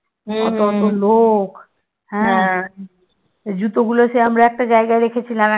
জুতোগুলো আমরা সে একটা জায়গায় রেখেছিলাম